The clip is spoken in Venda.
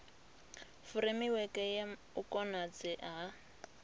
furemiweke ya u konadzea ha